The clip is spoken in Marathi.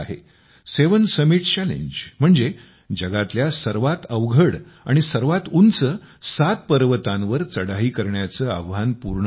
सेवेन समिटस् चॅलेंज म्हणजे जगातल्या सर्वात अवघड आणि सर्वात उंच सात पर्वतांवर चढाई करण्याचे आव्हान पूर्ण करणे